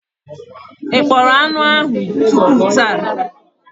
Ị kpọrọ anụ ahụ tupu taa?